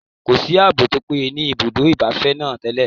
Kò sí ààbò tí ó péye ní ibùdó ìgbafẹ́ náà tẹ́lẹ̀